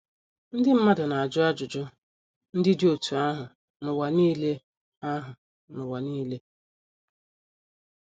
Ndị mmadụ na - ajụ ajụjụ ndị dị otú ahụ n’ụwa nile ahụ n’ụwa nile.